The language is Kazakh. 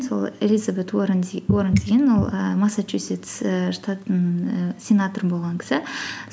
сол элизабет уоррен деген ол ііі масачуситс ііі штатының ііі сенаторы болған кісі